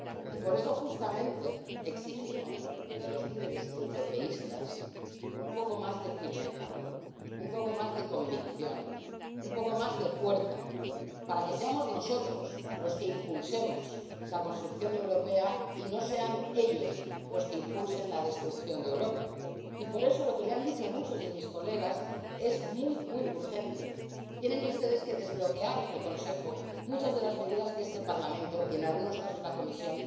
Y por eso, justamente, exigimos de los líderes europeístas un poco más de firmeza, un poco más de convicción, un poco más de fuerza para que seamos nosotros los que impulsemos la construcción europea y no sean ellos los que impulsen la destrucción de Europa. Y por eso, lo que le han dicho muchos de mis colegas es muy, muy urgente. Tienen ustedes que desbloquear en el Consejo muchas de las medidas que este Parlamento —y, en algunos casos, también la Comisión—